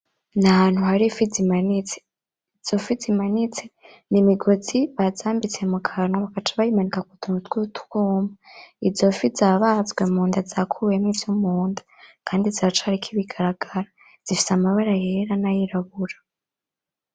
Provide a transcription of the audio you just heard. N'ahantu hari ifi zimanitse. Izo fi zimanitse, n'imigozi bazambitse mu kanwa bagaca bayimanika kutuntu twutwuma. Izo fi zabazwe munda zakuwemwo ivyo mu nda kandi ziracariko ibigaragamba zifise amabara yera nayirabura.